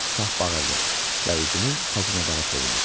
Şah bağırdı və üzünü xəzinədara çevirdi.